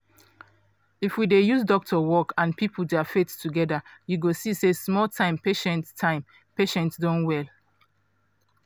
if we dey use doctor work and people dia faith together you go see say small time patient time patient don well.